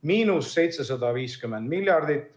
–750 miljardit.